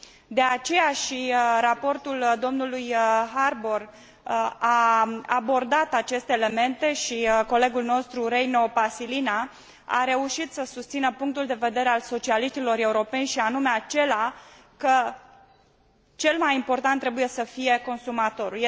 De aceea și raportul domnului Harbour a abordat aceste elemente și colegul nostru Reino Paasilinna a reușit să susțină punctul de vedere al socialiștilor europeni, și anume acela că cel mai important trebuie să fie consumatorul.